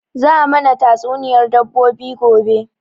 Za a mana tatsuniyar dabbobi gobe